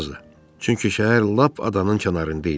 Çünki şəhər lap adanın kənarında idi.